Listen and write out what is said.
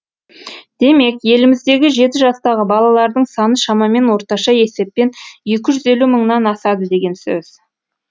демек еліміздегі жеті жастағы балалардың саны шамамен орташа есеппен екі жүз елу мыңнан асады деген сөз